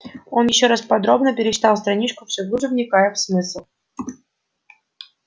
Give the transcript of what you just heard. он ещё раз подробно перечитал страничку все глубже вникая в смысл